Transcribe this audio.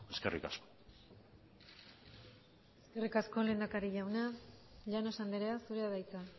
eskerrik asko eskerrik asko lehendakari jauna llanos andrea zurea da hitza